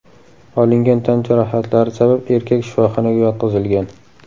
Olingan tan jarohatlari sabab erkak shifoxonaga yotqizilgan.